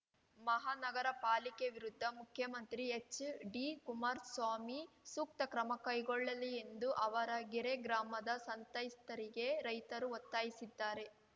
ಮಹಾ ನಗರ ಪಾಲಿಕೆ ವಿರುದ್ಧ ಮುಖ್ಯಮಂತ್ರಿ ಎಚ್‌ಡಿಕುಮಾರಸ್ವಾಮಿ ಸೂಕ್ತ ಕ್ರಮ ಕೈಗೊಳ್ಳಲಿ ಎಂದು ಆವರಗೆರೆ ಗ್ರಾಮದ ಸಂತ್ಯಸ್ಥ ರೈತರು ಒತ್ತಾಯಿಸಿದ್ದಾರೆ